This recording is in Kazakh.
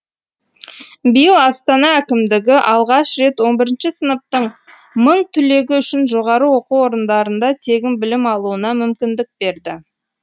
биыл астана әкімдігі алғаш рет он бірінші сыныптың мың түлегі үшін жоғары оқу орындарында тегін білім алуына мүмкіндік берді